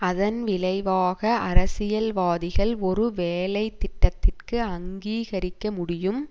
அதன் விளைவாக அரசியல்வாதிகள் ஒரு வேலைத்திட்டத்திற்கு அங்கீகரிக்க முடியும்